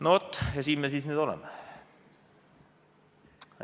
No vaat ja siin me nüüd siis oleme.